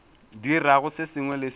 dirago se sengwe le se